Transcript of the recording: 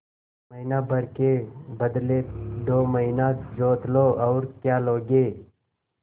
महीना भर के बदले दो महीना जोत लो और क्या लोगे